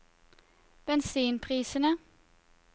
bensinprisene